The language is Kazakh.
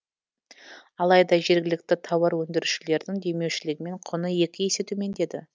алайда жергілікті тауар өндірушілердің демеушілігімен құны екі есе төмендеді